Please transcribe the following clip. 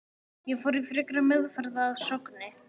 Ég fór í frekari meðferð að Sogni.